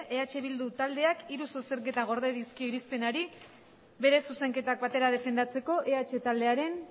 eh bildu taldeak hiru zuzenketa gorde dizkio irizpenari bere zuzenketak batera defendatzeko eh taldearen